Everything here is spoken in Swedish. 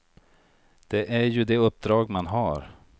Det är ju det uppdrag man har.